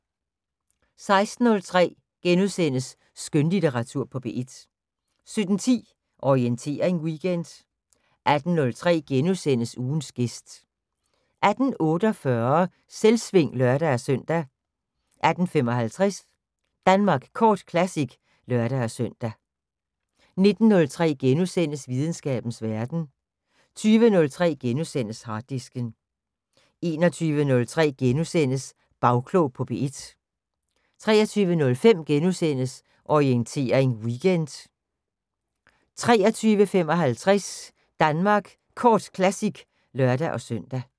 16:03: Skønlitteratur på P1 * 17:10: Orientering Weekend 18:03: Ugens gæst * 18:48: Selvsving (lør-søn) 18:55: Danmark Kort Classic (lør-søn) 19:03: Videnskabens Verden * 20:03: Harddisken * 21:03: Bagklog på P1 * 23:05: Orientering Weekend * 23:55: Danmark Kort Classic (lør-søn)